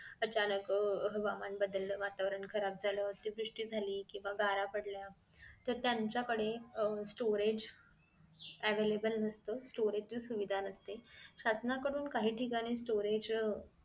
अचानक आह हवामान बदल वातावरण खराब झालं अतिवृष्टी झाली केंव्हा गार पडल्या. तर त्यांच्या कडे अह storage available नसत storage ची सुविधा नसते शासनाकडून काही ठिकाणी storage